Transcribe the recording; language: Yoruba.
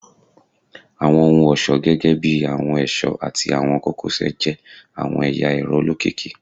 Awọn ohun-ọṣọ gẹgẹbi awọn ẹṣọ ati awọn kokosẹ jẹ awọn ẹya ẹrọ olokiki